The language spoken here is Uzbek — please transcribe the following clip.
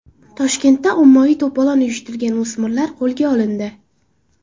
Toshkentda ommaviy to‘polon uyushtirgan o‘smirlar qo‘lga olindi.